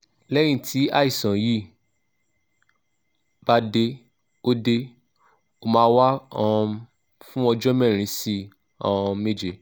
lẹ́yìn tí àìsàn yi bá dé ó dé ó máa wà um fún ọjọ́ mẹ́rin sí um méje